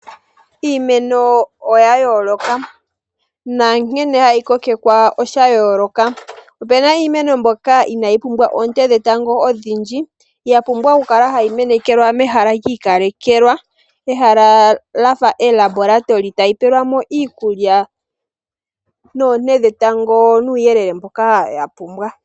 Iimeno oya yooloka nankene hayi kokekwa osha yooloka. Opu na iimeno mbyoka ina yi pumbwa oonte dhetango odhindji ya pumbwa hayi kala ya menekelwa mehala lyiikalekelwa mehala lya fa oLaboratory ota yi pewelwamo iikulya noonte dhetango nuuyelele mboka ya pumbwa.